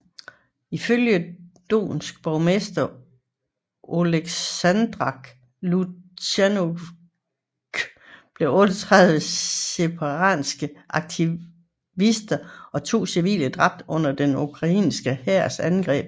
I følge Donetsk borgmester Oleksandr Lukjantjenko blev 38 separatistiske aktivister og to civile dræbt under den ukrainske hærs angreb